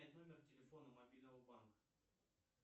номер телефона мобильного банка